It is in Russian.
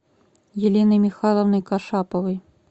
еленой михайловной кашаповой